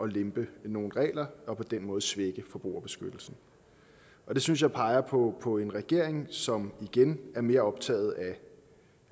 lempe nogle regler og på den måde svække forbrugerbeskyttelsen og det synes jeg peger på på en regering som igen er mere optaget af